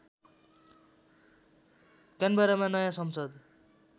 क्यानबरामा नयाँ संसद